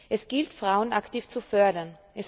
Es gilt, Frauen aktiv zu fördern.